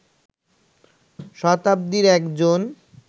শতাব্দীর একজন